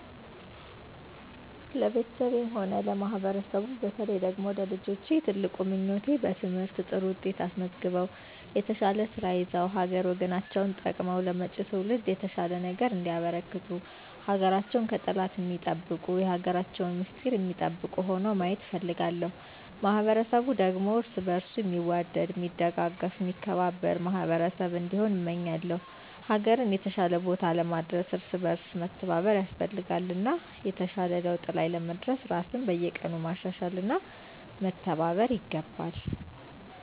ለቤተሰቤም ሆነ ለማህበረሰቡ በተለየ ደግሞ ለልጆቼ ትልቁ ምኞቴ በትምህርት ጥሩ ውጤት አስመዝግበው የተሻለ ስራ ይዘው ሀገር ወገናቸውን ጠቅመው ለመጭው ትውልድ የተሻለ ነገር እንዲያበረክቱ ሀገራቸውን ከጠላት ሚጠብቁ የሀገራቸውን ሚስጥር ሚጠብቁ ሁነው ማየት እፈልጋለሁ። ማህበረሰቡ ደግሞ እርስ በእርሱ ሚዋደድ ሚደጋገፍ ሚከባበር ማህበረሰብ እንዲሆን እመኛለው። ሀገርን የተሻለ ቦታ ለማድረስ እርስ በእርስ መተባበር ያስፈልጋል እና የተሻለ ለውጥ ላይ ለመድረስ ራስን በየቀኑ ማሻሻል እና መተባበር ይገባል።